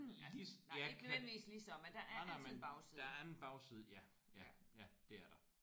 Lige så ja. Nej nej men der er en bagside ja ja ja det er der